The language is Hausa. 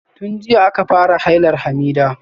Tun jiya aka fara hailar Hamidah.